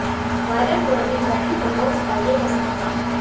viral हो रहीं wedding photos का ये है सच